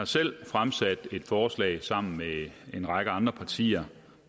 selv fremsat et forslag sammen med en række andre partier